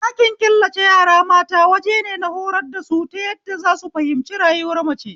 Ɗakin killace yara mata wajene na horar da su ta yadda zasu fahimci rayuwar mace